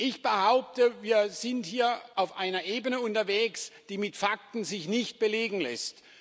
Ich behaupte, wir sind hier auf einer Ebene unterwegs, die sich mit Fakten nicht belegen lässt.